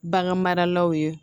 Bagan maralaw ye